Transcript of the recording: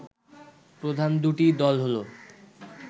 প্রধান দুটি দল হলো